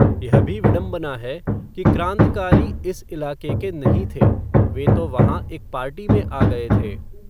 यह भी विडम्बना है, कि क्राँतिकारी इस इलाके के नहीं थे, वे तो वहाँ एक पार्टी में आ गए थे